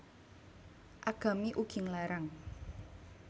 Agami ugi nglarang